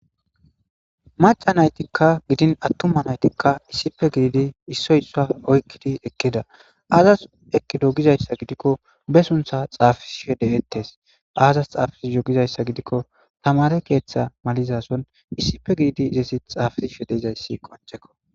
Maca naytikka gidin attuma naytikka issipe gididi issoysa oykkidi ekkida aazas ekkido gizayssa gidikko be suntha xaafishede ettes aazas xaafis yogizayssa gidikko tamare keeththa malizason issipe gididi izesi xaafi shedeizayssi qonchekko.